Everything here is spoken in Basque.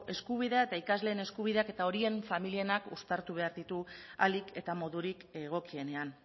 eskubidea eta ikasleen eskubideak eta horien familienak uztartu behar ditu ahalik eta modurik egokienean